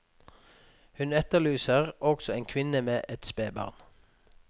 Hun etterlyser også en kvinne med et spedbarn.